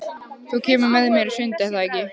Þú kemur með mér í sund, er það ekki?